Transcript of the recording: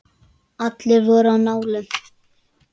Allir voru á nálum.